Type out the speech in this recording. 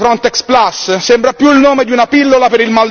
Vogliamo parlare poi delle vaghe promesse di Frontex?